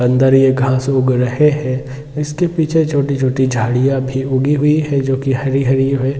अंदर एक घास उग रहे हैं इसके पीछे एक छोटी-छोटी झाड़ियां भी उगी हुई है जो की हरी- हरी है।